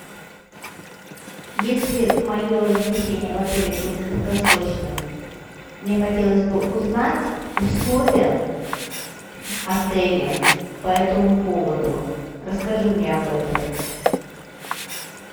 если мое размещение в отеле будет краткосрочным мне хотелось бы узнать условия отеля по этому поводу расскажи мне об этом